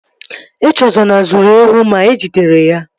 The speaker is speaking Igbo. Echezona zuru ewu ma e jidere ya